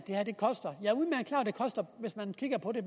det koster hvis man kigger på det